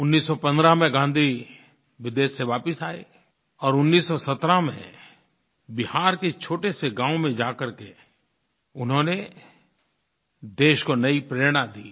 1915 में गाँधी विदेश से वापस आए और 1917 में बिहार के एक छोटे से गाँव में जाकर के उन्होंने देश को नई प्रेरणा दी